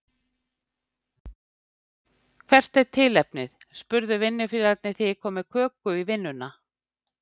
Hvert er tilefnið? spurðu vinnufélagarnir þegar ég kom með köku í vinnuna.